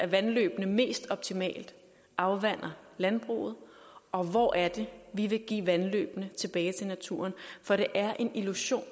vandløbene mest optimalt afvander landbruget og hvor er det vi vil give vandløbene tilbage til naturen for det er en illusion